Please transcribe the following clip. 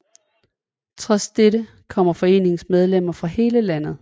Trods det kommer foreningens medlemmer fra hele landet